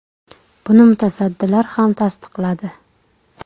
Buni mutasaddilar ham tasdiqladi.